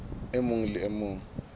e mong le e mong